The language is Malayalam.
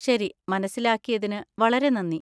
ശരി, മനസ്സിലാക്കിയതിന് വളരെ നന്ദി.